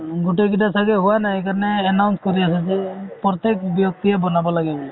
মানে গোটেইকেইটাৰ চাগে হোৱা নাই , সেইকাৰণে announce কৰি আছে যে প্ৰত্যেক ব্যক্তিয়ে বনাব লাগে বুলি।